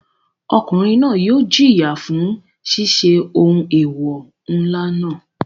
Ọkùnrin náà yóò jìyà fún ṣiṣẹ́ ohun eewọ ńlá náà.